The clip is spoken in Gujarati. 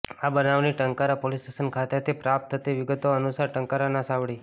આ બનાવની ટંકારા પોલીસ સ્ટેશન ખાતેથી પ્રાપ્ત થતી વિગતો અનુસાર ટંકારાના સાવડી